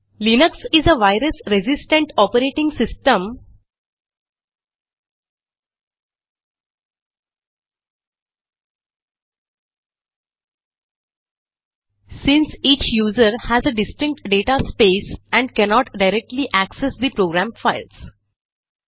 Linux is a virus resistant operating system since each user has a distinct data space and cannot directly access the program files